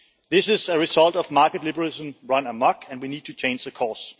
This is a result of market liberalism run amok, and we need to change course.